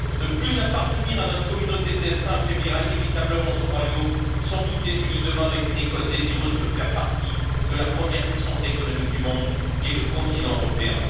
Ne plus appartenir à notre communauté de destin affaiblira inévitablement ce royaume sans doute désuni demain, avec une Écosse désireuse de faire partie de la première puissance économique du monde qu'est le continent européen.